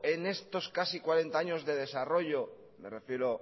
en estos casi cuarenta años de desarrollo me refiero